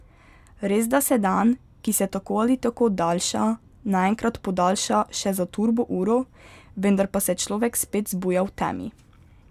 Resda se dan, ki se tako ali tako daljša, naenkrat podaljša še za turbo uro, vendar pa se človek spet zbuja v temi.